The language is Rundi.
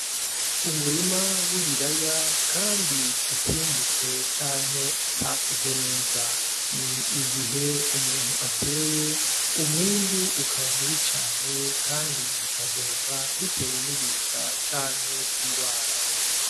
Umurima w'ibiraya kandi utimbutse canke utakuze neza ni igihe umuntu ateye umwimbu ukaba mubi cane kandi bigahomba bitewe n'ibiza canke ingwara.